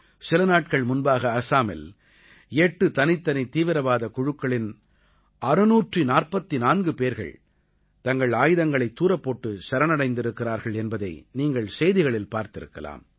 சில நாட்கள் முன்பாக ஆஸாமில் எட்டு தனித்தனி தீவிரவாதக் குழுக்களின் 644 பேர்கள் தங்கள் ஆயுதங்களைத் தூரப் போட்டு சரணடைந்திருக்கிறார்கள் என்பதை நீங்கள் செய்திகளில் பார்த்திருக்கலாம்